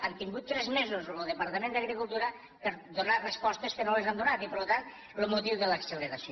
han tingut tres mesos lo departament d’agricultura per donar res postes que no les han donat i per tant lo motiu de l’acceleració